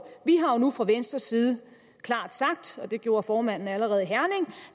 vi har jo nu fra venstres side klart sagt det gjorde formanden allerede i herning